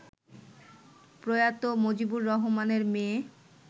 প্রয়াত মজিবর রহমানের মেয়ে